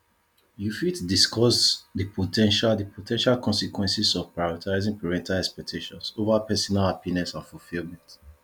you fit discuss di po ten tial di po ten tial consequences of prioritizing parental expectations over personal happiness and fulfillment